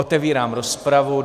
Otevírám rozpravu.